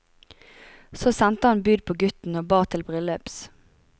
Så sendte han bud på gutten og ba til bryllups.